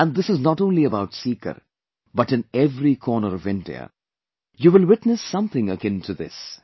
And this is not only about Sikar, but in every corner of India, you will witness something akin to this